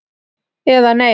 Eða nei.